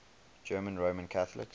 german roman catholics